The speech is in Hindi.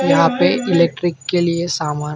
यहां पे इलेक्ट्रिक के लिए सामान--